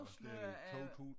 Er det i 2000